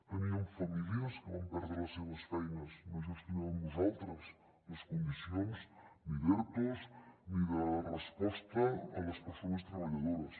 teníem famílies que van perdre les seves feines no gestionàvem nosaltres les condicions ni d’ertos ni de resposta a les persones treballadores